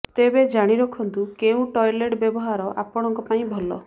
ତେବେ ଜାଣିରଖନ୍ତୁ କେଉଁ ଟଏଲେଟ୍ ବ୍ୟବହାର ଆପଣଙ୍କ ପାଇଁ ଭଲ